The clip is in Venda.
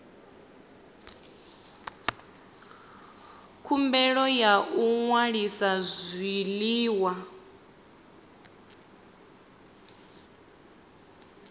khumbelo ya u ṅwalisa zwiḽiwa